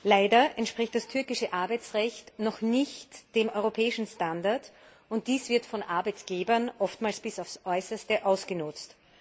Leider entspricht das türkische Arbeitsrecht noch nicht dem europäischen Standard, und dies wird von Arbeitgebern oftmals bis aufs Äußerste ausgenutzt.